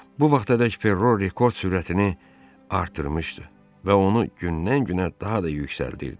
Bu vaxtadək Perro rekord sürətini artırmışdı və onu gündən-günə daha da yüksəldirdi.